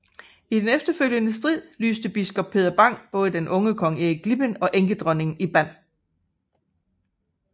I den efterfølgende strid lyste biskop Peder Bang både den unge kong Erik Glipping og enkedronningen i band